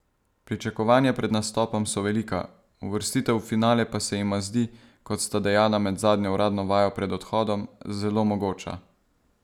Pričakovanja pred nastopom so velika, uvrstitev v finale pa se jima zdi, kot sta dejala med zadnjo uradno vajo pred odhodom, zelo mogoča.